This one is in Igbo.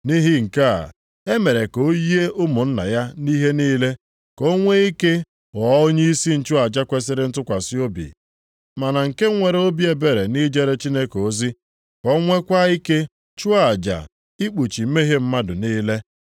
Nʼihi nke a, e mere ka o yie ụmụnna ya nʼihe niile, ka o nwe ike ghọọ onyeisi nchụaja kwesiri ntụkwasị obi ma na nke nwere obi ebere nʼijere Chineke ozi, ka o nweekwa ike chụọ aja ikpuchi mmehie mmadụ niile.